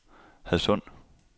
Hadsund